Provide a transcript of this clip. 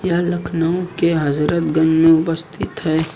यह लखनऊ के हजरतगंज में उपस्थित है।